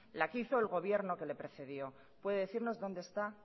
la que hizo el gobierno que le precedió puede decirnos dónde está